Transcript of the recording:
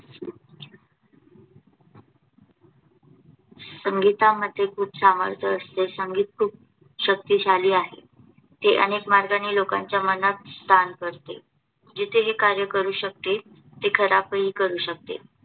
संगीतामध्ये खूप सामर्थ्य असते. संगीत खूप शक्तिशाली आहे. ते अनेक मार्गाने लोकांच्या मनात स्थान करते. जिथे हे कार्य करू शकते, तिथे खराब ही करू शकते.